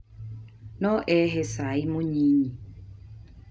No uhee cai mũnyinyi